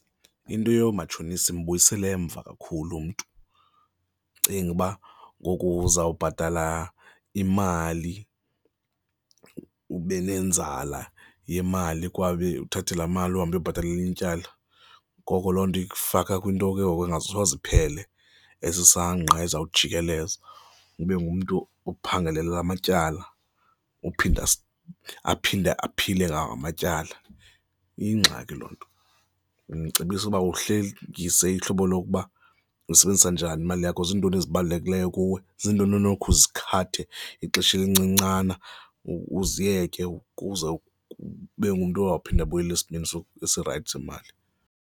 Into yoomatshonisa imbuyisela emva kakhulu mntu. Cinga uba ngoku uzawubhatala imali ube nenzala yemali kwabe uthathe laa mali uhambe uyobhatala elinye ityala. Ngoko loo nto ikufaka kwinto ke ngoku engasoze iphele, esisangqa izawujikeleza ube ngumntu ophangelela amatyala ophinde, aphinde aphile ngawo amatyala. Iyingxaki loo nto, ndimcebisa ukuba uhlengise ihlobo lokuba usebenzisa njani imali yakho, zintoni ezibalulekileyo kuwe, zintoni onakhe uzikhathathe ixesha elincincana, uziyeke ukuze ube ngumntu ozawuphinde abuyele esimeni esirayithi simali.